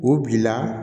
U bila